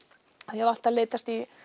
ég hef alltaf leitast í